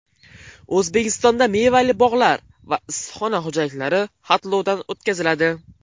O‘zbekistonda mevali bog‘lar va issiqxona xo‘jaliklari xatlovdan o‘tkaziladi.